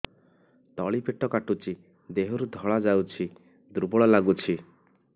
ତଳି ପେଟ କାଟୁଚି ଦେହରୁ ଧଳା ଯାଉଛି ଦୁର୍ବଳ ଲାଗୁଛି